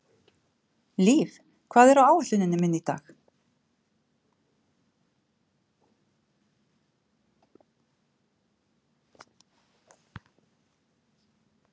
Liv, hvað er á áætluninni minni í dag?